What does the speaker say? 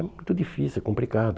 É muito difícil, é complicado.